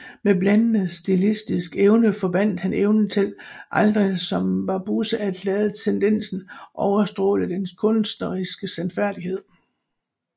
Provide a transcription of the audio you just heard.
Med blændende stilistisk evne forbandt han evnen til aldrig som Barbusse at lade tendensen overstråle den kunstneriske sandfærdighed